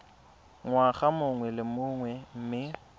ngwaga mongwe le mongwe mme